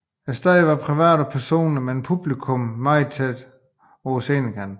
Stedet var meget privat og personligt med publikummet meget tæt på scenekanten